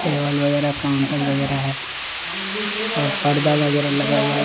Table वगैरह counter वग़ैरह है। और पर्दा वगैरह लगा हुआ है।